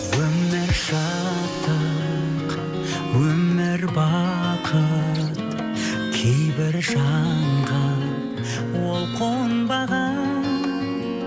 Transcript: өмір шаттық өмір бақыт кейбір жанға ол қонбаған